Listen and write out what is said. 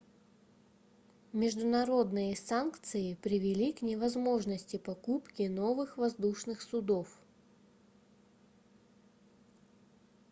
международные санкции привели к невозможности покупки новых воздушных судов